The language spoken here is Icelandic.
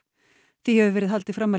því hefur verið haldið fram að